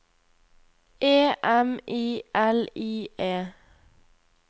E M I L I E